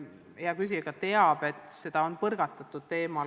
Hea küsija teab, et seda teemat on edasi-tagasi põrgatatud.